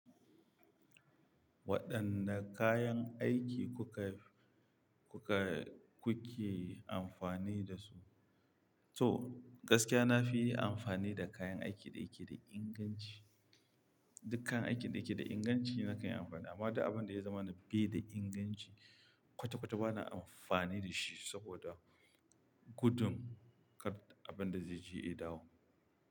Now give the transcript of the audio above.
Waɗanne kayan aiki kuka, kuka, kuke amfani da su? To gaskiya na fi yi amfani da kayan aikin da yake da inganci. Dukkan aikin da yake da inganci na kai amfani amma duk abin da ya zama bai da inganci kwata kwata ba na amfani da shi saboda gudun kar abin da zai je ya dawo.